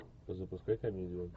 запускай комедию